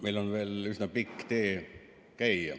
Meil on veel üsna pikk tee käia.